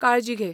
काळजी घे.